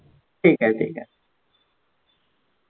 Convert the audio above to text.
ठीक आहे ठीक आहे.